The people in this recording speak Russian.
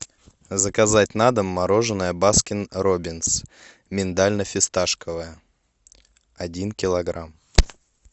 заказать на дом мороженое баскин робинс миндально фисташковое один килограмм